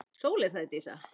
Sóley, sagði Dísa.